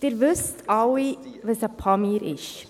Sie wissen alle, was ein «Pamir» ist.